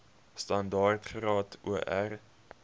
standaard graad or